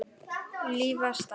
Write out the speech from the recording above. Líflaus ár.